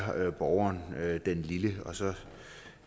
borgeren den lille og så